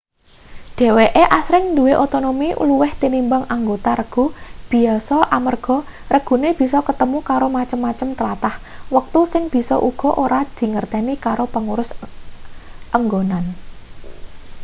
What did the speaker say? dheweke asring duwe otonomi luwih tinimbang anggota regu biyasa amarga regune bisa ketemu karo macem-macem tlatah wektu sing bisa uga ora dingerteni karo pangurus enggonan